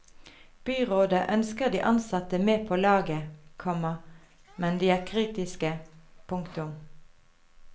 Byrådet ønsker de ansatte med på laget, komma men de er kritiske. punktum